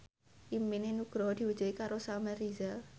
impine Nugroho diwujudke karo Samuel Rizal